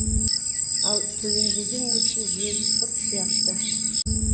ал төленбеген несие жегі құрт сияқты